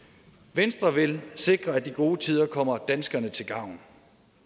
venstre vil sikre at de gode tider kommer danskerne til gavn